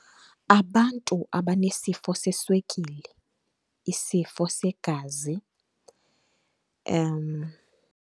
Abantu abanesifo seswekile, isifo segazi .